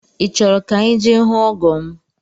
I chọrọ ka anyị je hụ ọgọ m?